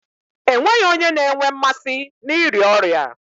E nweghi onye na-enwe mmasị n'ịrịa ọrịa.